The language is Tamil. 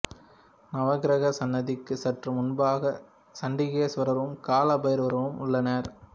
நவக்கிரக சன்னதிக்கு சற்று முன்பாக சண்டிகேஸ்வரரும் கால பைரவரும் உள்ளனர்